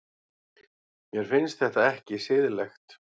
Mér finnst þetta ekki siðlegt.